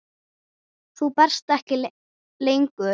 Þú berst ekki lengur.